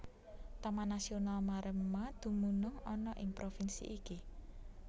Taman Nasional Maremma dumunung ana ing provinsi iki